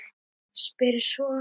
Spyr svo